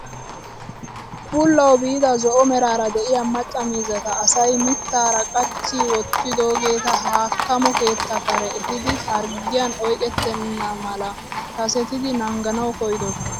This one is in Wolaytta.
Bullawu biida zo'o meraara de'iyaa macca miizzata asay mittaara qachchi wottidoogeta haakkamo keettaa kare efiidi harggiyaan oyqettena mala kasettidi naanganawu koyidosona.